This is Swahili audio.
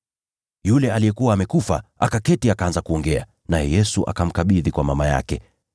Yule aliyekuwa amekufa akaketi akaanza kuongea, naye Yesu akamkabidhi kwa mama yake.